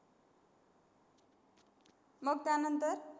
मग त्यानंतर?